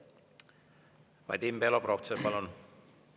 Vadim Belobrovtsev, palun!